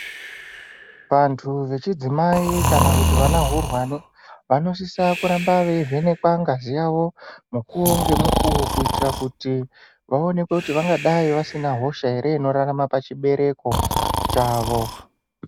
Antu vechidzimai, kana kuti vana hurwani vanosisa kuramba veivhenekwa ngazi yavo mukuwo ngemukuwo kuitira kuti vaonekwe kuti vangadai vasina hosha ere inorarama pachibereko chavo.